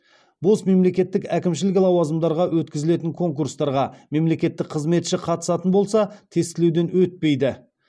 бос мемлекеттік әкімшілік лауазымдарға өткізілетін конкурстарға мемлекеттік қызметші қатысатын болса тестілеуден өтпейді